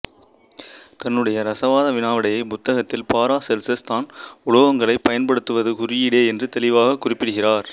தன்னுடைய ரசவாத வினாவிடைப் புத்தகத்தில் பாராசெல்ஸஸ் தான் உலோகங்களைப் பயன்படுத்துவது குறியீடே என்று தெளிவாகக் குறிப்பிடுகிறார்